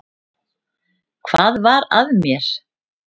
Hvað var að mér?